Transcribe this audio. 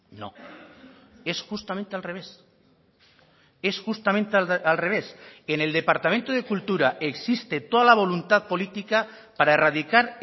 no es justamente al revés es justamente al revés en el departamento de cultura existe toda la voluntad política para erradicar